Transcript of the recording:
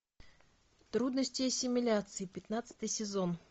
трудности ассимиляции пятнадцатый сезон